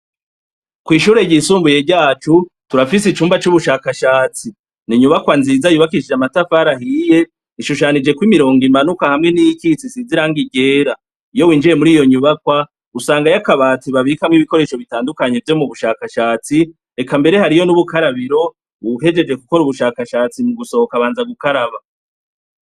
Kw'ishure ryisumbuye ryacu turafise icumba c'ubushakashatsi. Ni inyubakwa nziza yubakishije amatafari ahiye, ishushanijeko imirongo imanuka hamwe niyikitse, isize irangi ryera. Iyo winjiye muri iyo nyubakwa usangayo akabati babikamwo ibikoresho bitandukanye vyo mu bushakashatsi; eka mbere hariyo n'ubukarabiro uwuhejeje gukora ubushakashatsi mu gusohoka, abanza gukaraba.